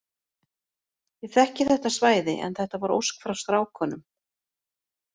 Ég þekki þetta svæði en þetta var ósk frá strákunum.